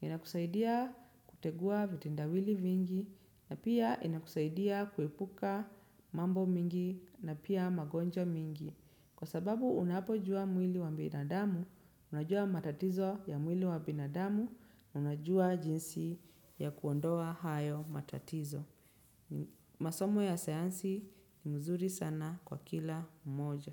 Inakusaidia kutegua vitendawili vingi na pia inakusaidia kuepuka mambo mingi na pia magonjwa mingi. Kwa sababu unapojua mwili wa binadamu, unajua matatizo ya mwili wa binadamu, unajua jinsi ya kuondoa hayo matatizo. Masomo ya sayansi ni mzuri sana kwa kila mmoja.